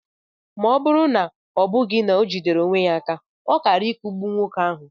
Ọ bụrụ na ọ bụghị na o jidere onwe ya, ọ kaara ikugbu nwoke ahụ.